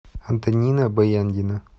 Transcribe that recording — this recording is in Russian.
антонина баяндина